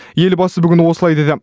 елбасы бүгін осылай деді